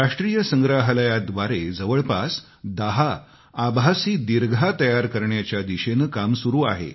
राष्ट्रीय संग्रहालयाव्दारे जवळपास दहा आभासी दीर्घा तयार करण्याच्या दिशेनं काम सुरू आहे